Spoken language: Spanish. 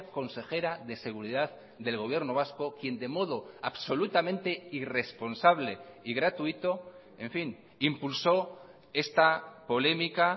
consejera de seguridad del gobierno vasco quien de modo absolutamente irresponsable y gratuito en fin impulsó esta polémica